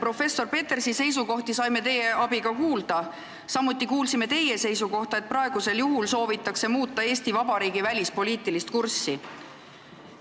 Professor Petersi seisukohti saime teie abiga kuulda, samuti kuulsime teie seisukohta, et praegu soovitakse muuta Eesti Vabariigi välispoliitilist kurssi.